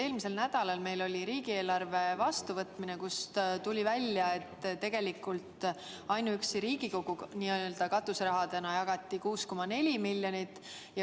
Eelmisel nädalal oli meil riigieelarve vastuvõtmine, mille käigus tuli välja, et ainuüksi Riigikogu katuserahadena jagati laiali 6,4 miljonit.